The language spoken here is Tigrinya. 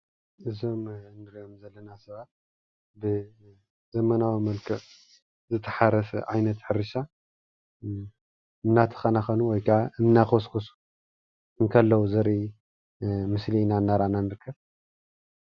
እዞም ንሪኦም ዘለና ሰባት ብዘመናዊ መልክዕ ዝተሓረሰ ዓይነት ሕርሻ እናተኸናኸኑ ወይ ከዓ እናኾስኮሱ እንከለዉ ዘርኢ ምስሊ ኢና እናርኣና ንርከብ፡፡